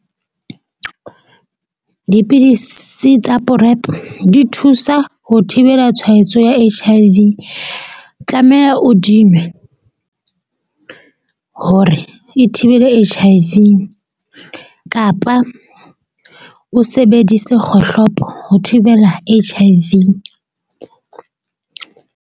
Dipidisi tsa PrEP di thusa ho thibela tshwaetso ya H_I_V tlameha o di nwe hore e thibele H_I_V kapa o sebedise kgohlopo ho thibela H_I_V.